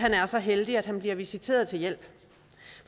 er så heldig at han bliver visiteret til hjælp